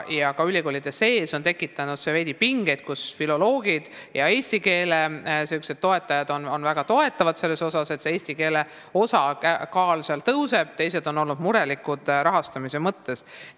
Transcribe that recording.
Ka ülikoolide sees on see veidi pingeid tekitanud: filoloogid ja eesti keele toetajad väga toetavad seda, et eesti keele osakaal tõuseb, teised on aga rahastamise mõttes murelikud.